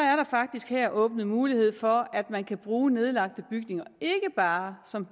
faktisk her åbnet mulighed for at man kan bruge nedlagte bygninger ikke bare som